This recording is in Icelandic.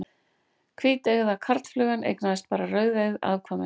Hvíteygða karlflugan eignaðist bara rauðeygð afkvæmi.